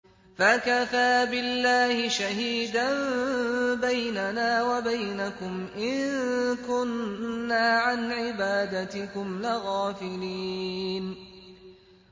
فَكَفَىٰ بِاللَّهِ شَهِيدًا بَيْنَنَا وَبَيْنَكُمْ إِن كُنَّا عَنْ عِبَادَتِكُمْ لَغَافِلِينَ